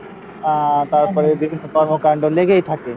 আহ তারপরে বিভিন্ন কর্মকাণ্ড লেগেই থাকে